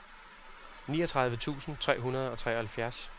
niogtredive tusind tre hundrede og treoghalvfjerds